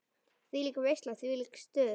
Þvílík veisla, þvílíkt stuð.